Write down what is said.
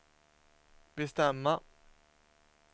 bestämma